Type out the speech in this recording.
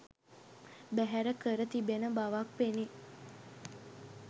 බැහැර කර තිබෙන බවක් පෙනේ.